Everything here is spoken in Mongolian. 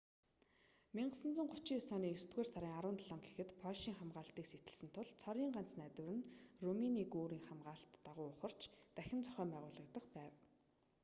1939 оны есдүгээр сарын 17 гэхэд польшийн хамгаалалтыг сэтэлсэн тул цорын ганц найдвар нь румыны гүүрний хамгаалалт дагуу ухарч дахин зохион байгуулагдах байв